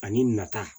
Ani nata